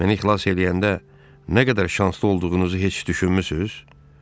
Məni xilas eləyəndə nə qədər şanslı olduğunuzu heç düşünmüsüz?